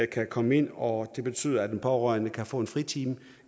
kan komme ind og det betyder at den pårørende kan få en fritime